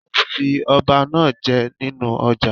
A ó fi ọba náá je nínú ọjà